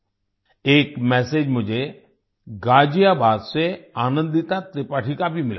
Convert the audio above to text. एक मेसेज मुझे गाजियाबाद से आनंदिता त्रिपाठी का भी मिला है